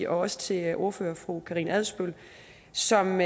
også til ordfører fru karina adsbøl som